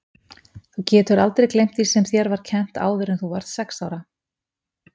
Þú getur aldrei gleymt því sem þér var kennt áður en þú varðst sex ára.